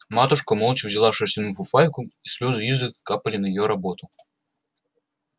матушка молча вязала шерстяную фуфайку и слёзы изредка капали на её работу